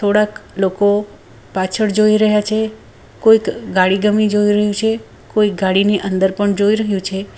થોડાક લોકો પાછળ જોઈ રહ્યા છે કોઈક ગાડી ગમી જોઈ રહ્યું છે કોઈ ગાડીની અંદર પણ જોઈ રહ્યો છે.